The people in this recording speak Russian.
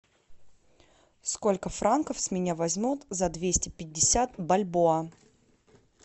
сколько франков с меня возьмут за двести пятьдесят бальбоа